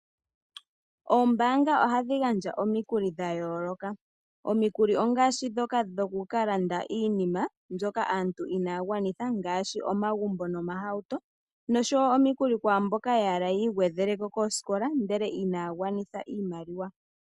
Oombaanga ohadhi gandja omikuli dhayooloka, omikuli ongaashi ndhoka dhoku kalanda iinima mbyoka aantu inaya gwanitha ngaashi omagumbo nomahauto nosho wo omikuli kwaamboka yahala yii gwedheleko koosikola ndele inaya gwanitha iimaliwa.